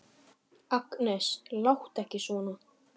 Agnes, láttu ekki svona!